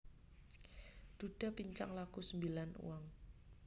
Dhudha pincang laku sembilan uang